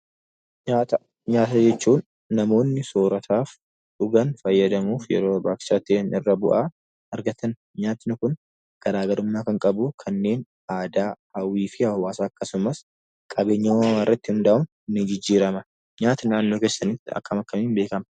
Nyaata. Nyaata jechuun namoonni soorataaf dhugaan faayadamuuf yeroo barbachisaa ta'en irra bu'aa argataani. Nyaatni kun garagarummaa kan qabu kannen aadaa hawwii fi hawaasa akksumaas qabeenya uumamaa irratti hunda'uun ni jijjirama. Nyaatni naannoo keessanitti akkam, akkamiin beekama?